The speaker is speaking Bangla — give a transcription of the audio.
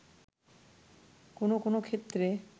কোন কোন ক্ষেত্রে